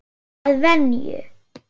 Að venju.